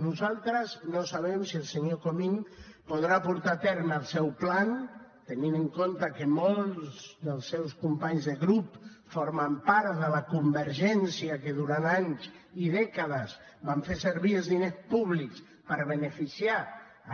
nosaltres no sabem si el senyor comín podrà portar a terme el seu pla tenint en compte que molts dels seus companys de grup formen part de la convergència que durant anys i dècades van fer servir els diners públics per beneficiar